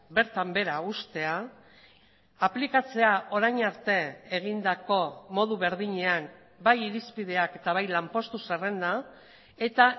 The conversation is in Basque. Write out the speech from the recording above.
bertan behera uztea aplikatzea orain arte egindako modu berdinean bai irizpideak eta bai lanpostu zerrenda eta